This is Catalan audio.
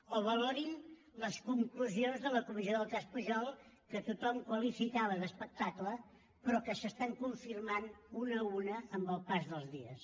o valorin les conclusions de la comissió del cas pujol que tothom qualificava d’espectacle però que s’estan confirmant una a una amb el pas dels dies